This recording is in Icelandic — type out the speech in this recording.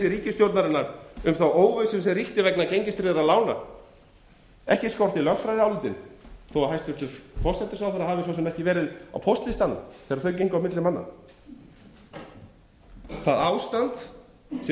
ríkisstjórnarinnar um þá óvissu sem ríkti vegna gengistryggðra lána ekki skorti lögfræðiálitin þó að hæstvirtur forsætisráðherra hafi svo sem ekki verið á póstlistanum þegar þau gengu á milli manna það ástand sem